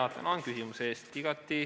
Tänan küsimuse eest!